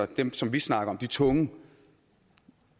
dem som vi snakker om de tunge